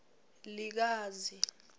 likazi